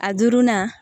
A duurunan